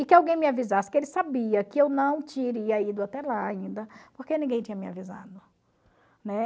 E que alguém me avisasse que ele sabia que eu não teria ido até lá ainda, porque ninguém tinha me avisado, né?